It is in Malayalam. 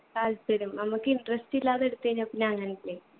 താല്പര്യം നമ്മക്ക് interest ഇല്ലാതെ എടുത്തു കഴിഞ്ഞാ പിന്നെ അങ്ങനല്ലേ